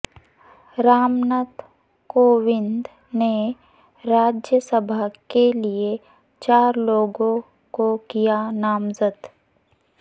رام ناتھ کووند نے راجیہ سبھا کے لیے چار لوگوں کو کیا نامزد